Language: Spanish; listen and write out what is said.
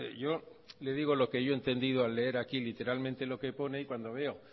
yo le digo lo que yo he entendido al leer aquí literalmente lo que pone y cuando veo